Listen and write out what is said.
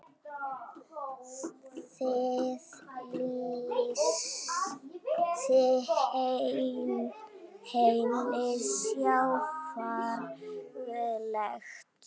Það lýsti henni sjálfri vel.